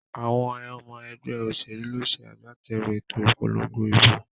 Àwon omo egbé òsèlú ló se agbáterù èto ìpolongo ìbò